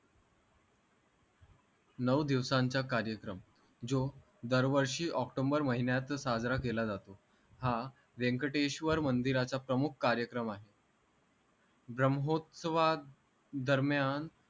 नऊ दिवसांचा कारेक्रम जो दर वर्षी ओक्टोम्बर महिन्यातच साजरा केला जातो हा व्यंकटेश्वर मंदिराचा प्रमुख कारेक्रम आहे ब्रामोत्सवा दरम्यान